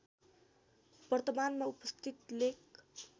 वर्तमानमा उपस्थित लेक